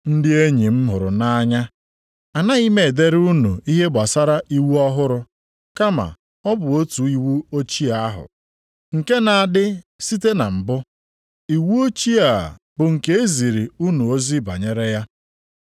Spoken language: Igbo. Ndị enyi m hụrụ nʼanya, anaghị m edere unu ihe gbasara iwu ọhụrụ, kama ọ bụ otu iwu ochie ahụ, nke na-adị site na mbụ. Iwu ochie a bụ nke e ziri unu ozi banyere ya.